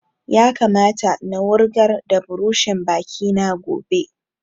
Ya kamata na wurgar da buroshin baki na gobe